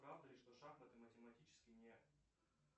правда ли что шахматы математически не